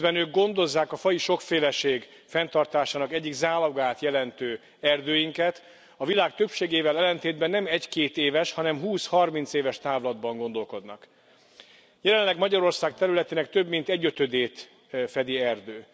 Miközben ők gondozzák a faji sokféleség fenntartásának egyik zálogát jelentő erdőinket, a világ többségével ellentétben nem egy két éves, hanem húsz harminc éves távlatban gondolkodnak. Jelenleg Magyarország területének több mint egyötödét fedi erdő.